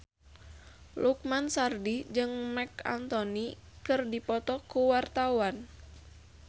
Lukman Sardi jeung Marc Anthony keur dipoto ku wartawan